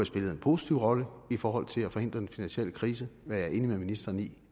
spillet en positiv rolle i forhold til at forhindre den finansielle krise hvad jeg er enig med ministeren i